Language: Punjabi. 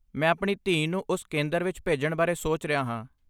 ਮੈਂ ਆਪਣੀ ਧੀ ਨੂੰ ਉਸ ਕੇਂਦਰ ਵਿੱਚ ਭੇਜਣ ਬਾਰੇ ਸੋਚ ਰਿਹਾ ਹਾਂ।